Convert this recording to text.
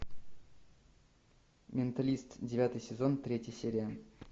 менталист девятый сезон третья серия